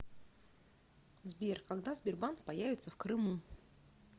сбер когда сбербанк появится в крыму